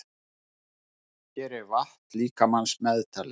Hér er vatn líkamans meðtalið.